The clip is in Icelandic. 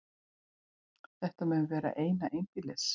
Þetta mun vera eina einbýlis